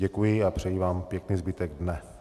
Děkuji a přeji vám pěkný zbytek dne.